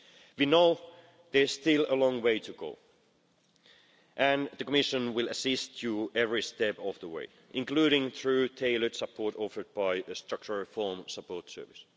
We know there's still a long way to go and the Commission will assist you every step of the way, including through tailored support offered by a structural reform support service.